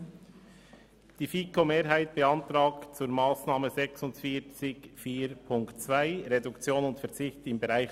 Ich bitte zuerst die FiKo-Mehrheit, ihren Antrag vorzustellen, dann die FiKo-Minderheit, die Antragstellerin Zryd und anschliessend die Co-Antragsteller.